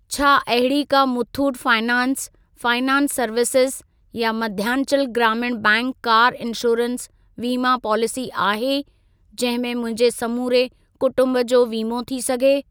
छा अहिड़ी का मुथूट फाइनेंस फाइनेंस सर्विसेज़ या मध्यांचल ग्रामीण बैंक कार इंश्योरेंस वीमा पॉलिसी आहे जहिं में मुंहिंजे समूरे कुटुंब जो वीमो थी सघे?